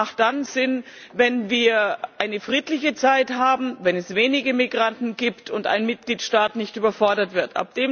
Dublin macht dann Sinn, wenn wir friedliche Zeiten haben, wenn es wenige Migranten gibt und ein Mitgliedstaat nicht überfordert wird.